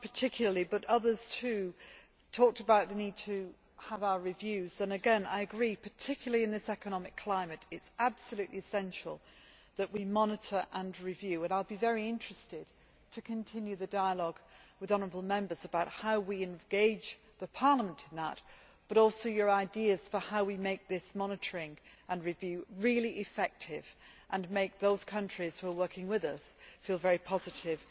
Martin in particular, but others too, talked about the need to have our reviews and, again, I agree, particularly in this economic climate, it is absolutely essential that we monitor and review. I will be very interested to continue the dialogue with honourable Members about how we engage Parliament in that, but also your ideas on how we can make this monitoring and review really effective and make those countries that are working with us feel very positive